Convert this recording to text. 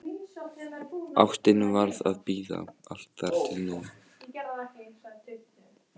Ástin varð að bíða, allt þar til nú.